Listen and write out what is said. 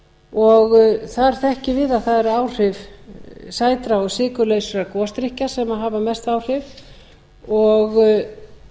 og þar þekkjum við að það eru áhrif ætla og sykurlausir gosdrykkir sem hafa mest áhrif